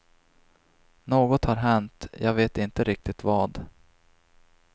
Något har hänt, jag vet inte riktigt vad.